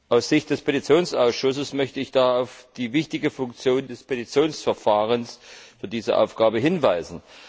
Aus Sicht des Petitionsausschusses möchte ich da auf die wichtige Funktion des Petitionsverfahrens für diese Aufgabe hinweisen.